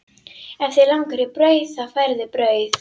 Ef þig langar í brauð þá færðu brauð.